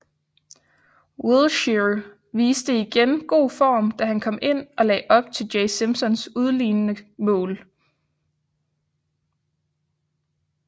Wilshere viste igen god form da han kom ind og lagde op til Jay Simpsons udlignende mål